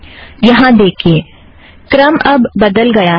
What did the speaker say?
यहाँ देखिए क्रम अब बदल गया है